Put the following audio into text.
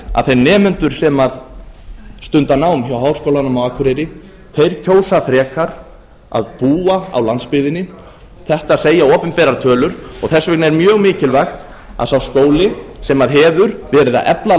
að þeir nemendur sem stunda nám hjá háskólanum á akureyri kjósa frekar að búa á landsbyggðinni þetta segja opinberar tölur og þess vegna er mjög mikilvægt að sá skóli sem hefur verið að efla